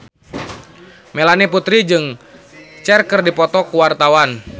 Melanie Putri jeung Cher keur dipoto ku wartawan